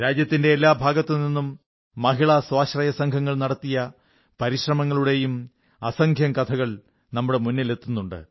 രാജ്യത്തിന്റെ എല്ലാ ഭാഗത്തുനിന്നും മഹിളാ സ്വാശ്രയ സംഘങ്ങൾ നടത്തിയ പരിശ്രമങ്ങളുടെയും അസംഖ്യം കഥകൾ നമ്മുടെ മുന്നിലെത്തുന്നുണ്ട്